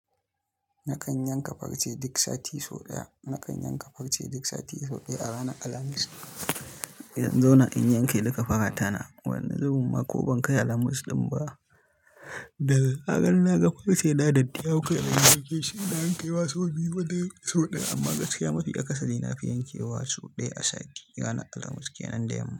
Nakan yanka farce duk sati sau ɗaya. Nakan yanka farce duk sati sau ɗaya a ranar Alhamis. In dan zauna in yanke duka faratana, wani zubin ma ko ban kai Alhamis ɗin ba. Dazaran naga farce ɗaya da ɗiya bukata don girke shi idan an kai wasu biyu wajen sau ɗaya amma gaskiya mafi ƙasali na fi yankewa sau ɗaya a sati a ranar Alhamis kenan da yamma.